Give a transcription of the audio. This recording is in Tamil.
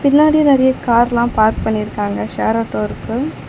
பின்னாடி நறிய கார்லாம் பார்க் பண்ணிருக்காங்க ஷேர் ஆட்டோ இருக்கு.